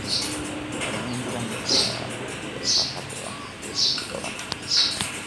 Xayawaanka ayaa il farxad u ah qoysas badan.